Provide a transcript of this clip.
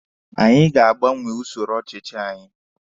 Anyị ga-agbanwe usoro ọchịchị anyị